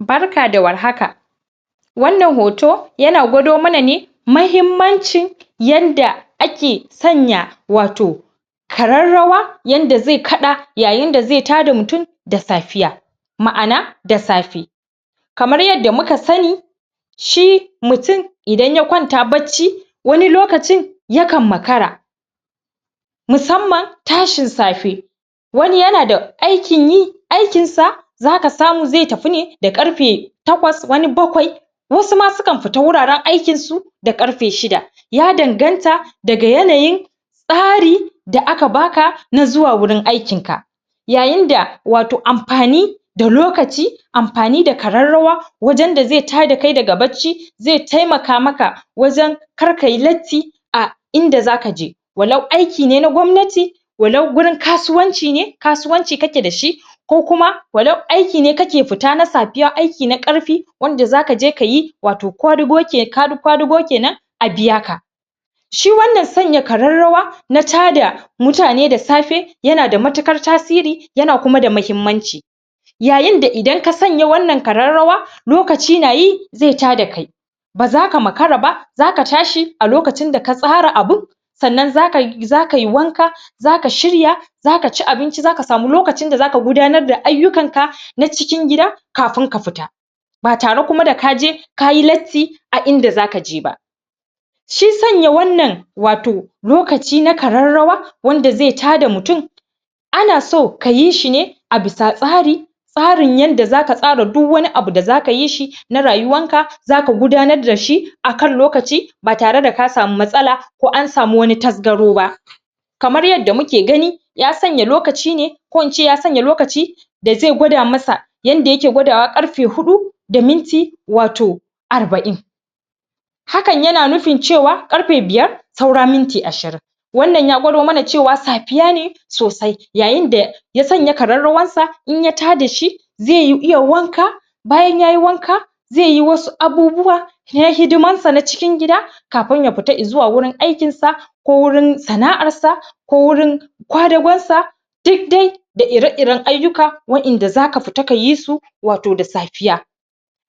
barka da war haka wannan hoto yana gwado mana ne mahimmancin yanda ake sanya wato kararrawa yanda zai kaɗa yayin da zai tada mutum da safiya ma'ana da safe kamar yadda muka sani shi mutum idan ya kwanta bacci wani lokacin yakan makara musamman tashin safe wani yanada aikin yi aikin sa zaka samu zai tafi ne da ƙarfe takwas wani bakwai wasu ma sukan fita wuraren aikin su da ƙarfe shida ya danganta daga yanayin tsari da aka baka na zuwa wurin aikin ka yayin da wato amfani da lokaci amfani da kararrawa wajen da zai ta da kai daga bacci zai taimaka maka wajen kar kayi latti a inda zaka je walau aki ne na gwamnati walau gurin kasuwanci ne kasuwanci kake dashi ko kuma walau aiki ne kake fita na safiya aiki na ƙarfi wanda zakaje kayi wato kwadugo kenan a biya ka shi wannan sanya kararrawa na tada mutane da safe yanada matiƙar tasiri yana kuma da mahimmanci yayin da idan ka sanya wannan kararrawa lokaci nayi zai tada kai bazaka makara ba zaka tashi a lokacin da ka tsara abun sannan zaka yi wanka zaka shirya zaka ci abinci zaka samu lokacin da zaka gudanar da ayyukan ka na cikin gida kafin ka fita ba tare kuma da kaje kayi latti a inda zaka je ba shi sanya wannan wato lokaci na kararrawa wanda zai tada mutum ana so kayi shi ne a bisa tsari tsarin yanda zaka tsara duk wani abu da zaka yi shi na rayuwan ka zaka gudanar dashi akan lokaci ba tare da ka samu matsala ko an samu wani tasgaro ba kamar yadda muke gani ya sanya lokaci ne ko in ce ya sanya lokaci da zai gwada masa yanda yake gwadawa ƙarfe hudu da minti wato arba'in hakan yana nufin cewa ƙarfe biyar saura minti ashirin wannan ya gwado mana cewa safiya ne sosai yayin da ya sanya kararrawar sa in ya tada shi zai iya wanka bayan yayi wanka zai yi wasu abubuwa na hadiman sa na cikin gida kafin ya fita i zuwa wurin aikin sa ko wurin sana'ar sa ko wurin kwadagon sa duk dai da ira iren ayyuka wa'yanda zaka fita kayi su wato da safiya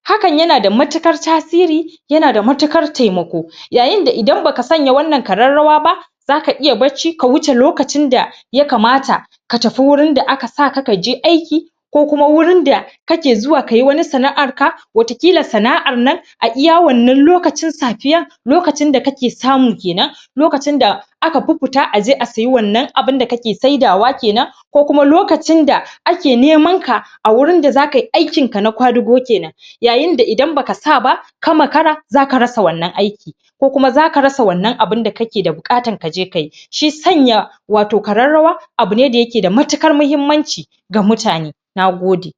hakan yanada matiƙar tasiri yanada matiƙar taimako yayin da idan baka sanya wannan kararrawa ba zaka iya bacci ka wuce lokacin da ya kamata ka tafi wurin da aka saka kaje aiki ko kuma wurin da kake zuwa kayi wani sana'ar ka wata ƙila sana'ar nan a iya wannan lokacin safiyan lokacin da kake samu kenan lokacin da aka fi fita aje sayi wannan abunda kake sai da wa kenan ko kuma lokacin da ake neman ka a wurin da zaka yi aikin ka na kwadugo kenan yayin da idan baka sa ba ka makara zaka rasa wannan aikin ko kuma zaka rasa wannan abunda kake da buƙata kaje kayi shi sanya wato kararrawa abu ne da yake da matiƙar mahimmanci ga mutane na gode